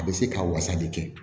A bɛ se ka wasa de kɛ